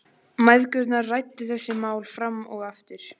Mæðgurnar ræddu þessi mál fram og aftur.